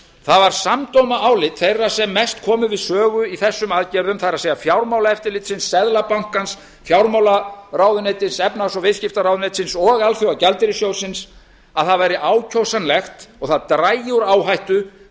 það var samdóma álit þeirra sem mest komu við sögu í þessum aðgerðum það er fjármálaeftirlitsins seðlabankans fjármálaráðuneytis efnahags og viðskiptaráðuneytis og alþjóðagjaldeyrissjóðsins að það væri ákjósanlegt og það drægi úr áhættu